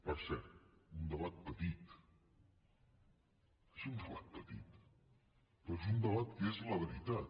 per cert un debat petit és un debat petit però és un debat que és la veritat